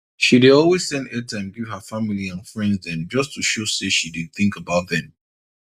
she dey always send airtime give her family and friends dem just to show say she dey think about dem